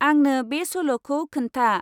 आंनो बे सल'खौ खोनथा।